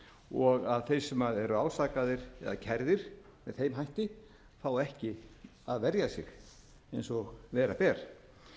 og að þeir sem eru ásakaðir eða kærðir með þeim hætti fá ekki að verja sig eins og bera ber